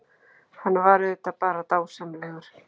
Hann var auðvitað bara dásamlegur.